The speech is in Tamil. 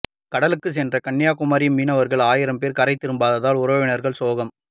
கடலுக்கு சென்ற கன்னியாகுமரி மீனவர்கள் ஆயிரம் பேர் கரை திரும்பாததால் உறவினர்கள் சோகம்